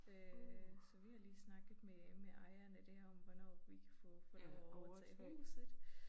Øh så vi har lige snakket med med ejeren af det om hvornår vi kan få få lov at overtage huset